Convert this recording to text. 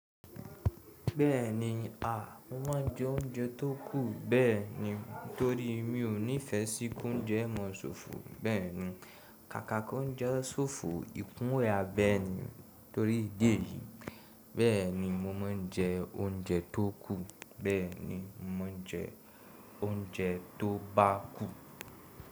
Bẹ́ẹ̀ni, à, mo máa n jẹ oúnjẹ tó kù, bẹ́ẹ̀ni torí mi ò nífẹ sí k'ounjẹ maa ṣòfò, bẹ́ẹ̀ni. Kàkàkà oúnjẹ ṣòfò ìkunwù à, bẹ́ẹ̀ni torí ìdí èyìí, bẹ́ẹ̀ni mo máa n jẹ oúnjẹ tó kù, bẹ́ẹ̀ni mo máa n jẹ oúnjẹ tó bá kù.